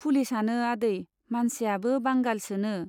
पुलिसआनो आदै , मानसियाबो बांगालसो नो।